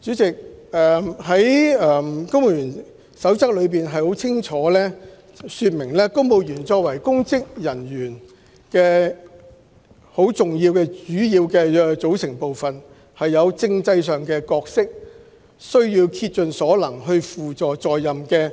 主席，《公務員守則》清楚訂明，公務員作為公職人員的主要組成部分有其政制角色，必須竭盡所能輔助在任的